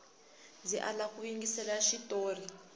ndzi lava ku yingisela xitori